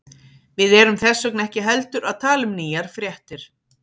Við erum þess vegna ekki heldur að tala um nýjar fréttir.